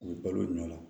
U bɛ balo o nɔ la